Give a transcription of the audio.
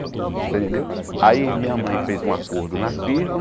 Você entendeu aí minha mãe fez um acordo na firma.